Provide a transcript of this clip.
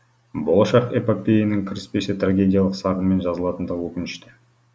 болашақ эпопеяның кіріспесі трагедиялық сарынмен жазылатындығы өкінішті